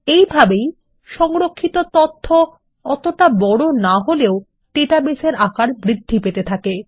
এইভাবেই সংরক্ষিত তথ্য অতটা বড় না হলেও ডাটাবেসের আকার বৃদ্ধি পেতে থাকে